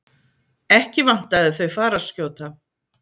Ekki vantaði þau fararskjóta.